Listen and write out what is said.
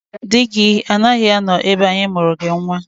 Di gị agaghị anọ ebe a anyị amụọrọ gị nnwa!